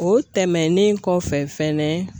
O tɛmɛnen kɔfɛ fɛnɛ